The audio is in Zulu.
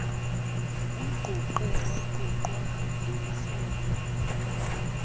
umnquqe wanqunqwa ngemimese